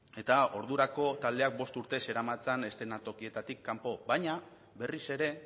eta ordurako taldeak bost urte zeramatzan eszenatokietatik kanpo baina berriz ere